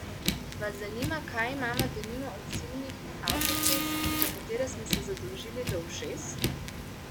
Vas zanima, kaj imamo denimo od silnih avtocest, za katere smo se zadolžili do ušes?